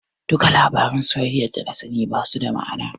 Duka labaran soyayyar dana sani basu da ma'ana.